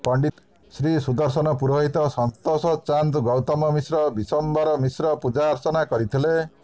ପଣ୍ଡିତ ଶ୍ରୀ ଶୁଦର୍ଶନ ପୂରୋହିତ ସନ୍ତୋଷ ଚାନ୍ଦ ଗୌତମ ମିଶ୍ର ବିଶ୍ବମ୍ବର ମିଶ୍ର ପୂଜାର୍ଚ୍ଚନା କରିଥିଲେ